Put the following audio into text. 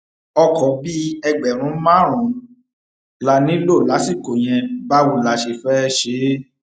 ọkọ bíi ẹgbẹrún márùnún la nílò lásìkò yẹn báwo la ṣe fẹẹ ṣe